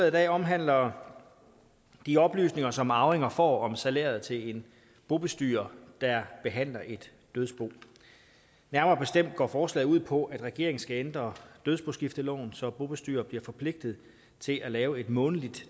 i dag omhandler de oplysninger som arvinger får om salæret til en bobestyrer der behandler et dødsbo nærmere bestemt går forslaget ud på at regeringen skal ændre dødsboskifteloven så bobestyrer bliver forpligtet til at lave et månedligt